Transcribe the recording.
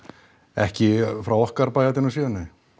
ekki frá okkar bæjardyrum séð nei